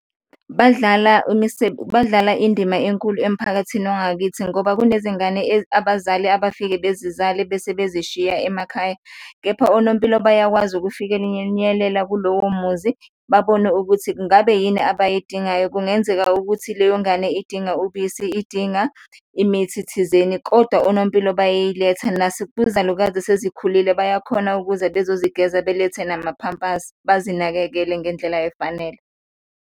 Badlala badlala indima enkulu emphakathini wangakithi ngoba kunezingane abazali abafike bezizale bese bezishiya emakhaya, kepha onompilo bayakwazi ukufikenyelela kulowo muzi babone ukuthi ngabe yini abayidingayo. Kungenzeka ukuthi leyo ngane idinga ubisi, idinga imithi thizeni kodwa onompilo bayayiletha kuzalukazi esezikhulile bayakhona ukuza bezozigeza, belethe namaphampasi, bazinakekele ngendlela efanele.